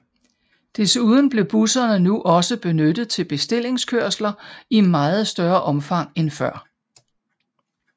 Desuden blev busserne nu også benyttet til bestillingskørsler i meget større omfang end før